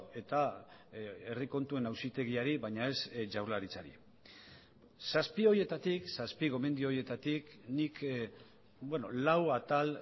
eta herri kontuen auzitegiari baina ez jaurlaritzari zazpi horietatik zazpi gomendio horietatik nik lau atal